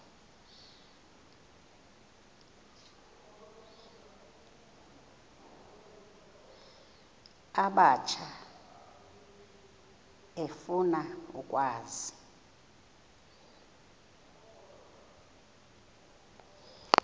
abatsha efuna ukwazi